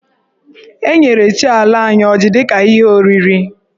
E nyere chi ala anyị ọjị dị ka ihe oriri.